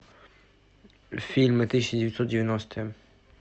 фильмы тысяча девятьсот девяностые